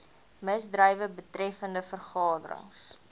misdrywe betreffende vergaderings